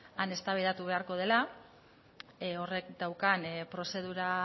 han eztabaidatu beharko dela horrek daukan prozedura